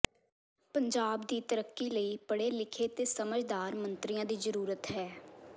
ਪੰਜਾਬ ਦੀ ਤਰੱਕੀ ਲਈ ਪੜ੍ਹੇ ਲਿਖੇ ਤੇ ਸਮਝਦਾਰ ਮੰਤਰੀਆਂ ਦੀ ਹੈ ਜ਼ਰੂਰਤ